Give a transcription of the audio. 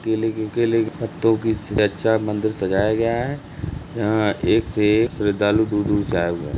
केले के केलो के पत्तों की से अच्छा मंदिर सजाया गया है। यहां एक से एक श्रद्धालु दूर-दूर से आए हुए हैं।